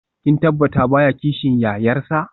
Kin tabbata baya kishin yayarsa?